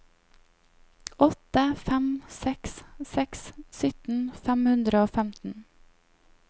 åtte fem seks seks sytten fem hundre og femten